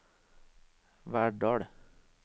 Verdal